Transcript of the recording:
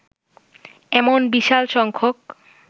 এমন বিশাল সংখ্যক